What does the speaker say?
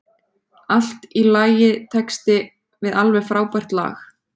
Allt í lagitexti við alveg frábært lag.